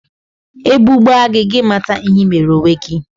Ebu gbaa gị, gị mata ihe ị mere onwe gị